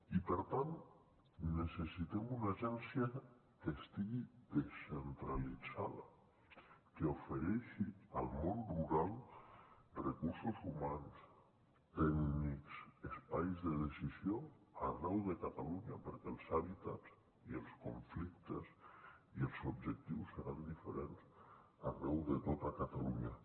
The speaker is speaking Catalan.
i per tant necessitem una agència que estigui descentralitzada que ofereixi al món rural recursos humans tècnics espais de decisió arreu de catalunya perquè els hàbitats i els conflictes i els objectius seran diferents arreu de tota catalunya